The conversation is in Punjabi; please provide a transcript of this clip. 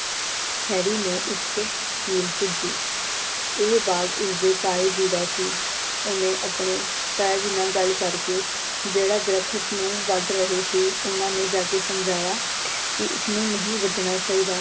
ਹੈਰੀ ਨੂੰ ਇੱਕ ਸਕੀਮ ਸੂਝੀ। ਇਹ ਬਾਗ਼ ਉਸਦੇ ਤਾਏ ਜੀ ਦਾ ਸੀ। ਉਹਨੇ ਆਪਣੇ ਤਾਇਆ ਜੀ ਨਾਲ ਗੱਲ ਕਰਕੇ ਜਿਹੜਾ ਦਰੱਖਤ ਨੂੰ ਵੱਡ ਰਹੇ ਸੀ ਓਹਨਾਂ ਨੇ ਜਾ ਕੇ ਸਮਝਾਇਆ ਕੀ ਇਸਨੂੰ ਨਹੀਂ ਵੱਡਣਾ ਚਾਹੀਦਾ।